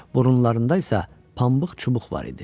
Burunlarında isə pambıq çubuq var idi.